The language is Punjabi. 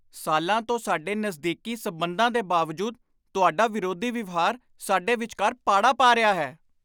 ਸਾਲਾਂ ਤੋਂ ਸਾਡੇ ਨਜ਼ਦੀਕੀ ਸਬੰਧਾਂ ਦੇ ਬਾਵਜੂਦ ਤੁਹਾਡਾ ਵਿਰੋਧੀ ਵਿਵਹਾਰ ਸਾਡੇ ਵਿਚਕਾਰ ਪਾੜਾ ਪਾ ਰਿਹਾ ਹੈ।